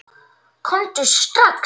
Komdu strax!